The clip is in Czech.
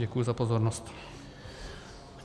Děkuji za pozornost.